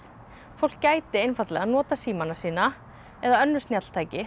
fólk geti einfaldlega notað símana sína eða önnur snjalltæki